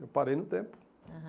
Eu parei no tempo. Aham